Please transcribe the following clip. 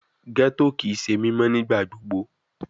Ghetto kii ṣe mimọ nigbagbogbo